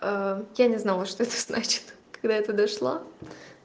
я не знала что значит когда я туда шла